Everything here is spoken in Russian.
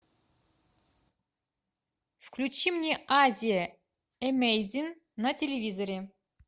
включи мне азия эмейзин на телевизоре